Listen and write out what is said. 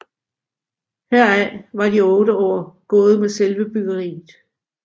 Heraf var de otte år gået med selve byggeriet